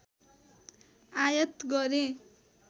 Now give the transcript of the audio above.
आयात गरे